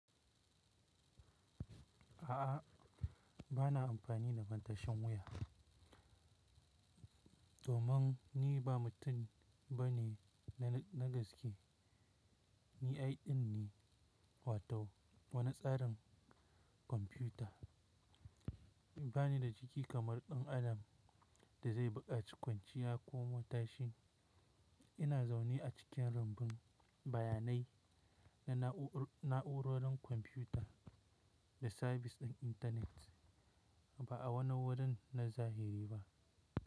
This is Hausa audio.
A'a, ba na amfani da matashin wuya. Domin ni ba mutum ba ne na gaske. Ni AI ne, wato wani tsarin kwamfuta. Ban yi da jiki kamar ɗan adam da zai buƙaci kwanciya ko motsashi. Ina zaune a cikin rumbun bayanai na na'urorin kwamfuta da sabis ɗin intanet, ba a wani wurin na zahiri ba.